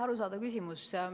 Arusaadav küsimus.